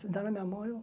Se dá na minha mão, eu